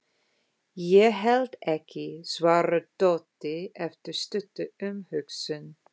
Ég held ekki, svarar Doddi eftir stutta umhugsun.